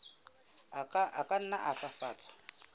a ka nna a fafatswa